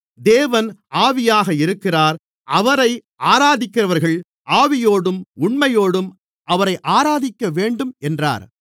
தேவன் ஆவியாக இருக்கிறார் அவரை ஆராதிக்கிறவர்கள் ஆவியோடும் உண்மையோடும் அவரை ஆராதிக்க வேண்டும் என்றார்